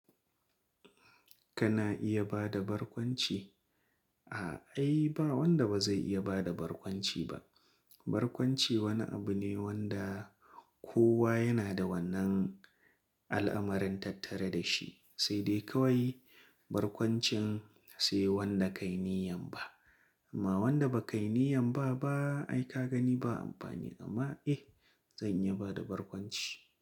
Kana iya bada barkwanci? A'a ai ba wanda ba zai iya bada barkwanci ba. Barkwanci wani abu ne wanda kowa yana da wannan al'amarin tattare da shi, sai dai kawai barkwancin sai wanda ka yi niyyar ba. Amma wanda ba ka yi niyyar ba ba ai ka gani ba amfani. Amma eh zan iya bada barkwanci.